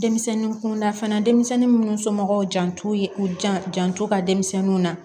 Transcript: Denmisɛnnin kunda fana denmisɛnnin minnu somɔgɔw jan t'u jan janto ka denmisɛnninw na